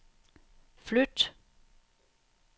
flyt